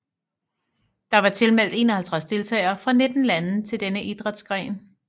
Der var tilmeldt 51 deltagere fra 19 lande til denne idrætsgren